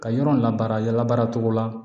Ka yɔrɔ la baara cogo la